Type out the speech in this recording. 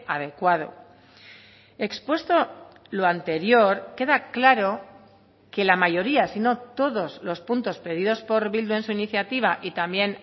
adecuado expuesto lo anterior queda claro que la mayoría sino todos los puntos pedidos por bildu en su iniciativa y también